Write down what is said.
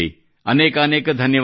ಅನೇಕಾನೇಕ ಧನ್ಯವಾದ